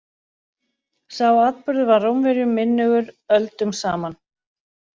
Sá atburður var Rómverjum minnugur öldum saman.